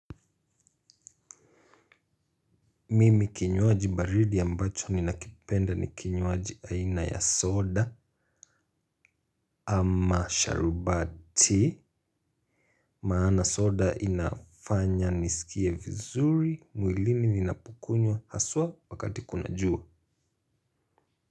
Mimi kinywaji baridi ambacho ninakipenda ni kinywaji aina ya soda ama sharubati. Maana soda inafanya nisikie vizuri mwilini ninapukunywa haswa wakati kuna jua.